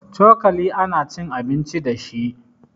Cokali ana cin abinci dashi